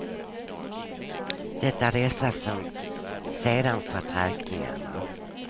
Det är dessa som sedan fått räkningarna.